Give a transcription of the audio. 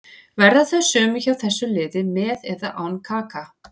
Verða þau sömu hjá þessu liði með eða án Kaka.